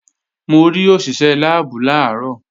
Mo rí òṣìṣé láàbù làárọ̀